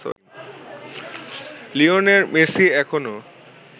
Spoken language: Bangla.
লিওনেল মেসি এখনো